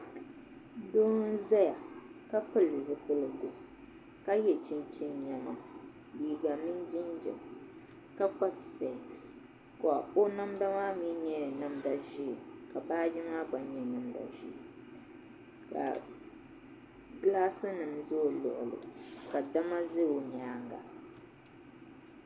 Doo n ʒɛya ka pili zipiligu ka yɛ chinchin niɛma liiga mini jinjɛm ka kpa spɛs o namda maa mii nyɛla namda ʒiɛ ka baaji maa gba nyɛ baaji ʒiɛ ka dama ƶɛ o nyaanga